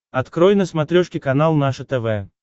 открой на смотрешке канал наше тв